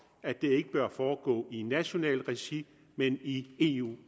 at det ikke bør foregå i nationalt regi men i eu